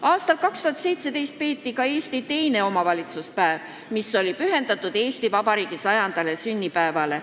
Aastal 2017 peeti Eesti teine omavalitsuspäev, mis oli pühendatud Eesti Vabariigi 100. sünnipäevale.